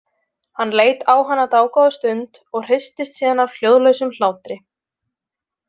Hann leit á hana dágóða stund og hristist síðan af hljóðlausum hlátri.